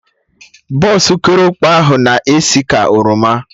Bọsụ korokpe ahụ na esi ka oroma